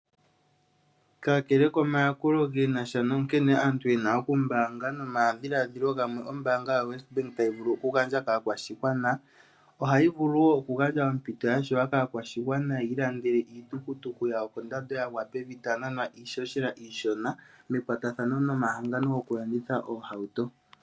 Kakale komayakulo ge nasha na nkene aantu yena oku mbaanga nomadhiladhilo gamwe ombaanga yoWesbank tayi vulu oku gandja kaakwashigwana, ohayi vulu wo oku gandja ompito ya shewa kaa kwashigwana yi i landele iitukutuku yawo kondando yagwa pevi taya nanwa iishoshela iishona mekwatathano no mahangano gokulanditha oohauto.